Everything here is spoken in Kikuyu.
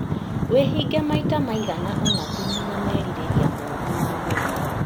Wĩhinge maita maiga ũna kũnina merirĩria mooru ma mwĩrĩ